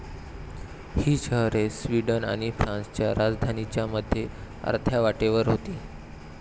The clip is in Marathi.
ही शहरे स्वीडन आणि फ्रान्सच्या राजधानींच्या मध्ये अर्ध्या वाटेवर होती.